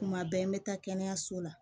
Kuma bɛɛ n bɛ taa kɛnɛyaso la